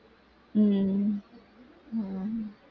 உம் உம்